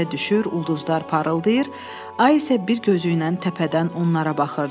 Gecə düşür, ulduzlar parıldayır, ay isə bir gözü ilə təpədən onlara baxırdı.